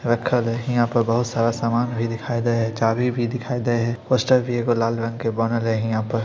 रक्खल हेय हीया पर बहुत सारा समान भी दिखाई दे हेय चाभी भी दिखाई देय हेय पोस्टर भी एगो लाल रंग के बांधल हेय हीया पर ----